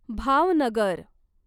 Bhavnagar